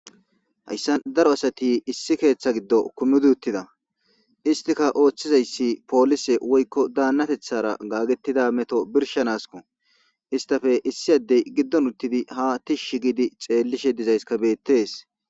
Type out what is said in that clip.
Haysa daro asati issi keththan issiti uththida oththizzayisi woyikko danatheththara gagetho birshshanaskko issittappe issi adde giddon uththdi ha tishshi xelizayisi bettes.